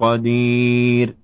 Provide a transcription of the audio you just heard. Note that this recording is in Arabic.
قَدِيرٌ